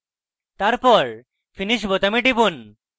তারপর finish বোতামে টিপুন